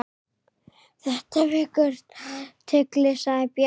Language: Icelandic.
Þetta vekur athygli sagði Bjarni.